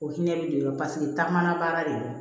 O hinɛ bi don taa man baara de don